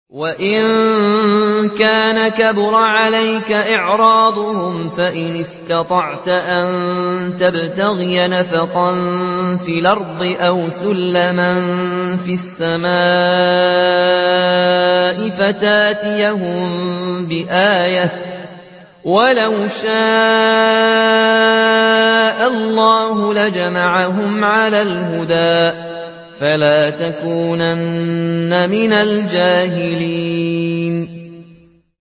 وَإِن كَانَ كَبُرَ عَلَيْكَ إِعْرَاضُهُمْ فَإِنِ اسْتَطَعْتَ أَن تَبْتَغِيَ نَفَقًا فِي الْأَرْضِ أَوْ سُلَّمًا فِي السَّمَاءِ فَتَأْتِيَهُم بِآيَةٍ ۚ وَلَوْ شَاءَ اللَّهُ لَجَمَعَهُمْ عَلَى الْهُدَىٰ ۚ فَلَا تَكُونَنَّ مِنَ الْجَاهِلِينَ